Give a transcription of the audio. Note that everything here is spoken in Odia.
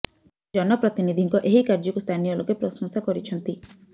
ଜନ ପ୍ରତିନିଧିଙ୍କ ଏହି କାର୍ଯ୍ୟକୁ ସ୍ଥାନୀୟ ଲୋକେ ପ୍ରଶଂସା କରିଛନ୍ତି